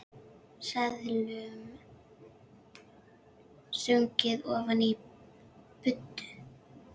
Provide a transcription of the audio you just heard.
Seðlum stungið ofan í buddu.